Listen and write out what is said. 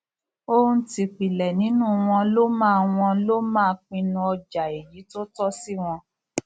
ohun tìpìlẹ nínú wọn ló máa wọn ló máa pinnu ọjà èyí tó tọ sí wọn